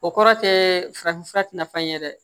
O kɔrɔ tɛ farafin fura tɛ na fan ye dɛ